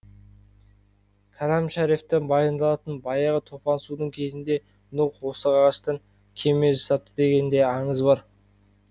кәләм шәрифте баяндалатын баяғы топан судың кезінде нұх осы ағаштан кеме жасапты деген де аңыз бар